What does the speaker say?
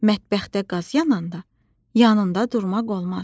Mətbəxdə qaz yananda yanında durmaq olmaz.